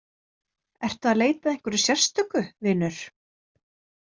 Ertu að leita að einhverju sérstöku, vinur?